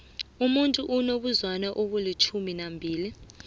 umuntu unabo zwane abili tjhumi